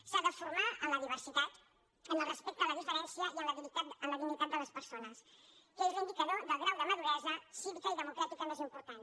s’ha de formar en la diversitat en el respecte a la diferència i en la dignitat de les persones que és l’indicador del grau de maduresa cívica i democràtica més important